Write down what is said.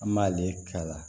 An m'ale k'a la